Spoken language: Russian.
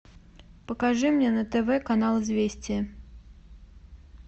покажи мне на тв канал известия